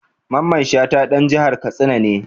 Mamman Shata ɗan jihar Katsina ne.